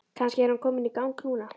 Kannski er hann kominn í gang núna?